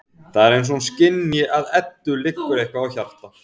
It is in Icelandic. Það er eins og hún skynji að Eddu liggur eitthvað á hjarta.